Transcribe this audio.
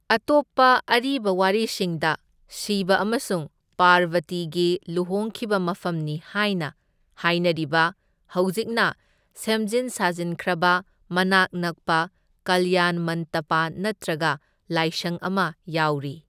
ꯑꯇꯣꯞꯄ ꯑꯔꯤꯕ ꯋꯥꯔꯤꯁꯤꯡꯗ ꯁꯤꯕ ꯑꯃꯁꯨꯡ ꯄꯥꯔꯕꯇꯤꯒꯤ ꯂꯨꯍꯣꯡꯈꯤꯕ ꯃꯐꯝꯅꯤ ꯍꯥꯏꯅ ꯍꯥꯏꯅꯔꯤꯕ ꯍꯧꯖꯤꯛꯅ ꯁꯦꯝꯖꯤꯟ ꯁꯥꯖꯤꯟꯈ꯭ꯔꯕ ꯃꯅꯥꯛ ꯅꯛꯄ ꯀꯜꯌꯥꯟꯃꯟꯇꯄꯥ ꯅꯠꯇꯔꯒ ꯂꯥꯏꯁꯪ ꯑꯃ ꯌꯥꯎꯔꯤ꯫